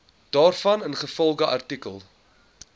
daarvan ingevolge artikel